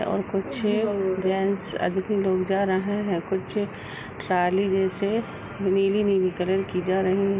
और कुछ जेंट्स लोग जा रहे हैं। कुछ ट्राली जैसे नीली नीली कलर की जा रही --